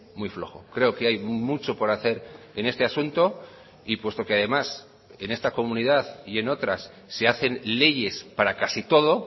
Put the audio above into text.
muy flojo creo que hay mucho por hacer en este asunto y puesto que además en esta comunidad y en otras se hacen leyes para casi todo